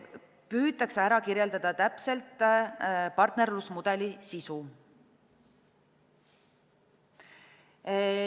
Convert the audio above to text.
Püütakse kirjeldada täpselt partnerlusmudeli sisu.